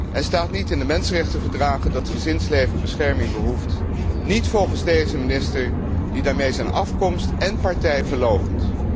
En staat niet in de mensenrechtenverdragen dat gezinsleven bescherming behoeft? Niet volgens deze minister, die daarmee zijn afkomst en partij verloochent.